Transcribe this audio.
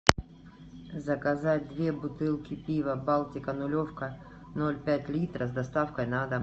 заказать две бутылки пива балтика нулевка ноль пять литра с доставкой на дом